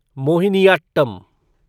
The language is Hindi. मोहिनीयाट्टम